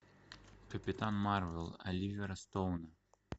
капитан марвел оливера стоуна